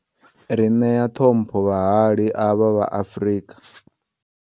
Ri nea ṱhompho vhahali avha vha Afrika.